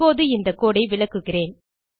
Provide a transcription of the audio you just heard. இப்போது இந்த கோடு ஐ விளக்குகிறேன்